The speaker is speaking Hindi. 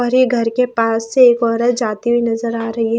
भरे घर के पास से एक औरत जाती हुई नजर आ रही है।